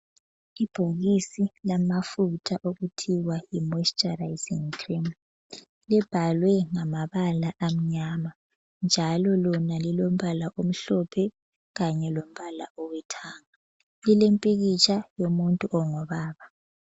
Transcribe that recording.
Ibhokisi lamafutha okuthiwa yi moisturising cream libhalwe ngamabala amnyama njalo lona lilombala omhlophe kanye lombala olithanga lilompikitsha womuntu ongubaba.